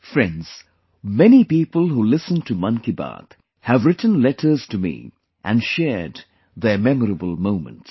Friends, many people who listened to 'Mann Ki Baat' have written letters to me and shared their memorable moments